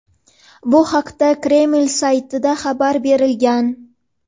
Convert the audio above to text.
Bu haqda Kreml saytida xabar berilgan.